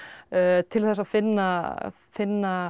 til þess að finna finna